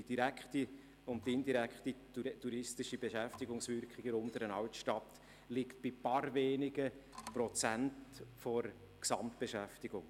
Die direkte und indirekte Beschäftigung in der Unteren Altstadt liegt bei ein paar wenigen Prozenten der Gesamtbeschäftigung.